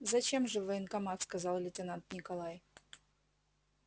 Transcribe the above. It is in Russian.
зачем же в военкомат сказал лейтенант николай